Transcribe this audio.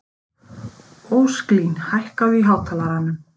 Ósklín, hækkaðu í hátalaranum.